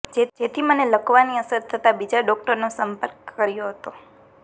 જેથી મને લકવાની અસર થતા બીજા ડોક્ટરનો સંપર્ક કર્યો હતો